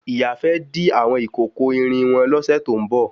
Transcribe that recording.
Ìyá fẹ́ dí àwọn ìkòkò irin wọn lọ́sè tó ń bọ̀